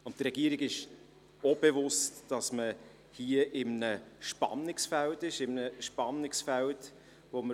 Der Regierung ist es auch bewusst, dass man sich hier in einem Spannungsfeld befindet.